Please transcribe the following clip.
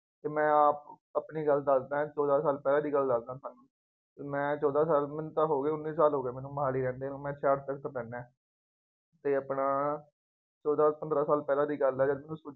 ਅਤੇ ਮੈਂ ਆਪ ਆਪਣੀ ਗੱਲ ਦੱਸਦਾਂ, ਚੋਦਾਂ ਸਾਲ ਪਹਿਲਾਂ ਦੀ ਗੱਲ ਦੱਸਦਾ, ਮੈਂ ਚੋਦਾਂ ਸਾਲ, ਮੈਨੂੰ ਤਾਂ ਹੋ ਗਏ, ਉੱਨੀ ਸਾਲ ਹੋ ਗਏ ਮੈਨੂੰ ਮੁਹਾਲੀ ਰਹਿੰਦੇ ਨੂੰ, ਮੈਂ ਕੋਲ ਰਹਿੰਦਾ। ਅਤੇ ਆਪਣਾ ਚੋਦਾਂ ਪੰਦਰਾ ਸਾਲ ਪਹਿਲਾ ਦੀ ਗੱਲ ਹੈ ਜਦੋਂ